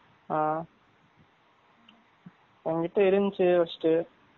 ஆ எங்கிட்ட இருந்துச்சு first உ